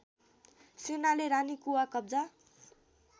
सेनाले रानीकुवा कब्जा